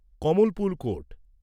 Kamalpur court